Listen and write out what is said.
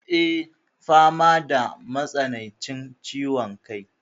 Eh, fama da matsanancin ciwon kai.